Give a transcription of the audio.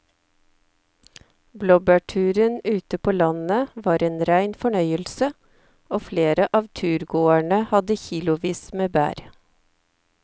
Blåbærturen ute på landet var en rein fornøyelse og flere av turgåerene hadde kilosvis med bær.